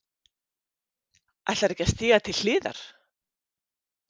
Ætlarðu ekki að stíga til hliðar?